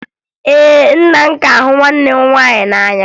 Ee, nna m ka hụ nwanne m nwaanyị n'anya